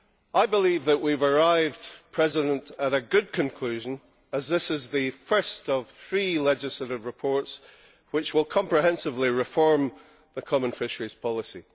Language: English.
I believe that we have arrived at a good conclusion, as this is the first of three legislative reports which will comprehensively reform the Common Fisheries Policy.